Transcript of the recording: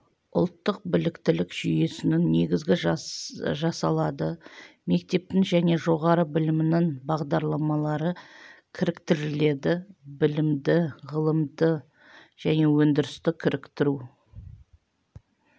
ұлттық біліктілік жүйесінің негізі жасалады мектептің және жоғары білімнің бағдарламалары кіріктіріледі білімді ғылымды және өндірісті кіріктіру